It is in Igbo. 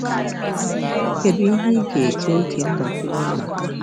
Kedu ihe ị ga-eji oge mgbakwunye maka?